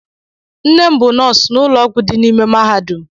Nne m bụ nọọsụ n'ụlọ ọgwụ dị n'ime mahadum.